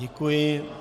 Děkuji.